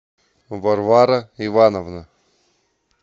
варвара ивановна